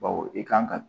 Bawo i kan ka